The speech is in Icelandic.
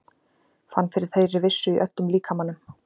Fann fyrir þeirri vissu í öllum líkamanum.